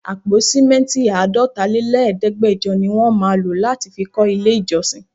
Àpò simẹnti Àádọ́ta lé lẹ̀ẹ́dẹgbẹjọ ní wọ́n má lọ láti fi kó ilé ìjọsìn.